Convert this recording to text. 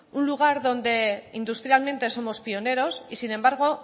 un lugar donde industrialmente somos pioneros y sin embargo